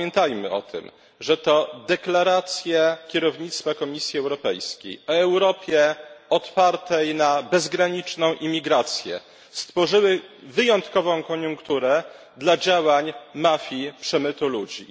Pamiętajmy o tym, że to deklaracje kierownictwa Komisji Europejskiej o Europie otwartej na bezgraniczną imigrację stworzyły wyjątkową koniunkturę dla działań mafii przemytu ludzi.